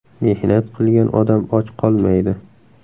Mehnat qilgan odam och qolmaydi.